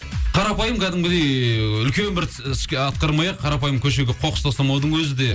қарапайым кәдімгідей ііі үлкен бір іс атқармай ақ қарапайым көшеге қоқыс тастамаудың өзі де